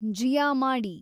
ಜಿಯಾ ಮಾಡಿ